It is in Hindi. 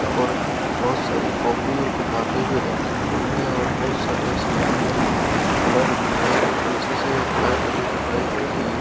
और बहुत सारे कॉपी और किताबें भी रखी हुई हैं और बहुत सारे इसमें अंदर पिलर भी हैं और पीछे से एक लाइट भी दिखाई दे रही है।